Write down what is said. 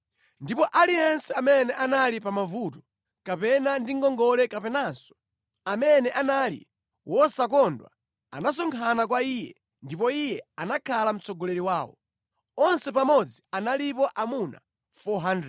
Ndipo aliyense amene anali pa mavuto, kapena ndi ngongole kapenanso amene anali wosakondwa anasonkhana kwa iye, ndipo iye anakhala mtsogoleri wawo. Onse pamodzi analipo amuna 400.